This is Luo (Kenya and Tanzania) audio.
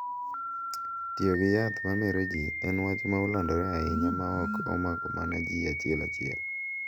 Tiyo gi yath ma mero ji en wach ma olandore ahinya ma ok omako mana ji achiel achiel